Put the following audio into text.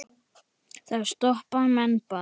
Þá stoppa menn bara.